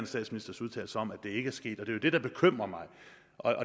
statsministers udtalelser om at det ikke er sket det er det der bekymrer mig